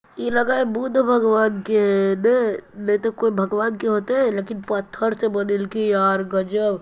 ई लगा है बुद्ध भगवान के है नय? नय तो कोई भगवान के होतै लेकिन पत्थर से बनइल की यार गजब।